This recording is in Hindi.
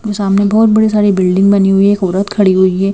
सामने बहुत बड़ी सारी बिल्डिंग बनी हुई है एक औरत खड़ी हुई है।